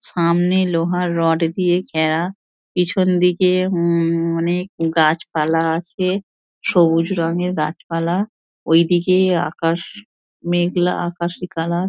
সামনে লোহার রড দিয়ে ঘেরা পিছন দিকে উম অনেক গাছপালা আছে সবুজ রঙের গাছপালা ঐদিকে আকাশ মেঘলা আকাশি কালার ।